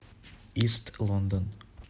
ист лондон